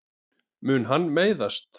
Mun hann meiðast?